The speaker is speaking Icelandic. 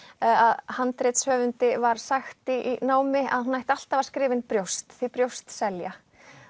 að var sagt í námi að hún ætti alltaf að skrifa inn brjóst því brjóst selja